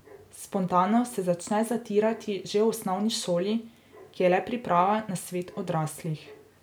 Spontanost se začne zatirati že v osnovni šoli, ki je le priprava na svet odraslih.